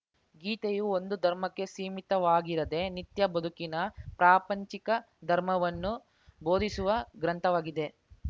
ಗೀತೆಯು ಒಂದು ಧರ್ಮಕ್ಕೆ ಸೀಮಿತವಾಗಿರದೆ ನಿತ್ಯ ಬದುಕಿನ ಪ್ರಾಪಂಚಿಕ ಧರ್ಮವನ್ನು ಬೋಧಿಸುವ ಗ್ರಂಥವಾಗಿದೆ